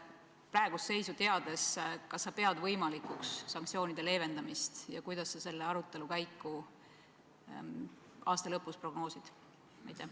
Praegust seisu teades, kas sa pead võimalikuks sanktsioonide leevendamist ja kuidas sa prognoosiksid selle arutelu käiku aasta lõpus?